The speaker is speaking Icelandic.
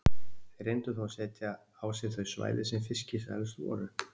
Þeir reyndu þó að setja á sig þau svæði sem fiskisælust voru.